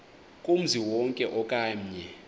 kumzi wonke okanye